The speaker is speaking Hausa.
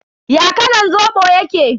Ya kalan Zobo yake?